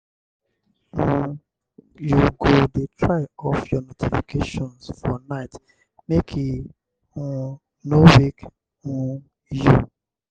um you go dey try off your notifications for night make e um no wake um you.